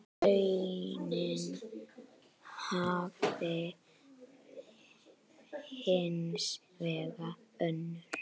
Raunin hafi hins vegar önnur.